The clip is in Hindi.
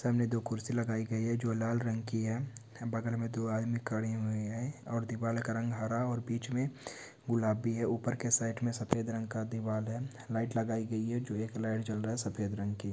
सामने दो कुर्सी लगाई गई है जो लाल रंग की है बगल में दो आदमी खड़ी हुई है और दीवाल का रंग हरा और बीच में गुलाबी है उसके साइड में सफेद रंग का दीवाल है लाइट लगाई गई है जो एक लाइट जल रहा है सफेद रंग की--